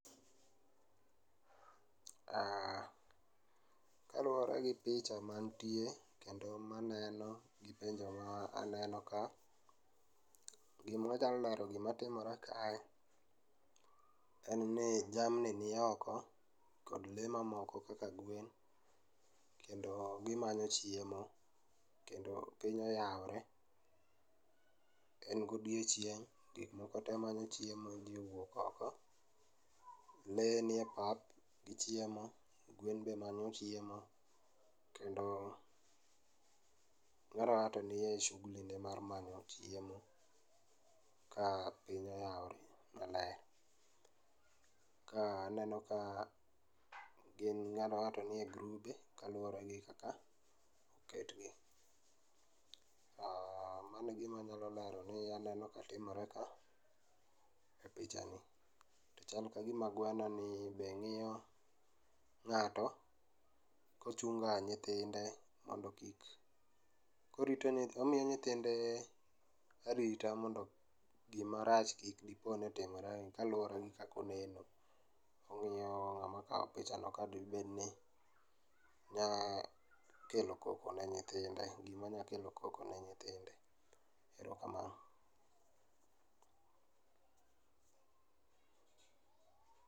Aaah, kaluore gi picha mantie kendo maneno gi penjo ma aneno ka, gima aja neno, gima timore kae en ni jamni ni oko kod lee mamoko kaka gwen kendo gimanyo chiemo kendo piny oyaore, en godiochieng', gik moko te manyo chiemo, jii owuok oko. Lee ni e pap gichiemo, gwen be manyo chiemo kendo kila ng'ato nie shughuli ne mar manyo chiemo ka piny oyaore maler. Ka aneno ka gin ng'at ka ng'ato nie grupe kaluore gi kaka oketgi. Mano e gima anyalo wacho ni aneno ka timore ka e picha ni to chal kagima gweno ni be ng'iyo ng'ato ochunga nyithinde mondo kik, orito nyithinde, omiyo nyithinde arita mondo gima rach kik diponi timre kaluore gi kaka oneno. Omiyo picha no ka dibedni nyakelo koko ne nyithindo, gima nya kelo koko ne nyithinde, erokamano